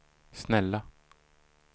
snälla